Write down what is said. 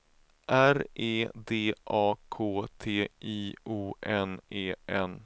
R E D A K T I O N E N